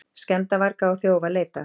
Skemmdarvarga og þjófa leitað